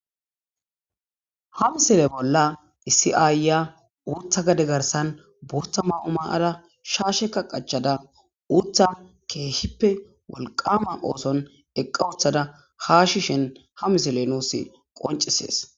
Ha misile bolla isi aayya uutha gade garsan buuta ma'o maada shaashe ka qachada uutha keehippe walqama ooson eqqa uththada haashi shen ha misile nuus qoncisees.